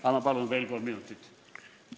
Anna palun veel kolm minutit!